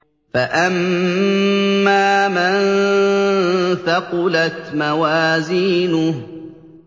فَأَمَّا مَن ثَقُلَتْ مَوَازِينُهُ